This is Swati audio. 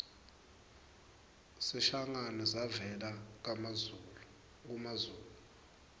sishangane savela kumazulu